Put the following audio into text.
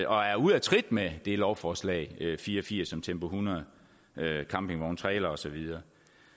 og er ude af trit med det lovforslag l fire og firs om tempo hundrede campingvogne trailere og så videre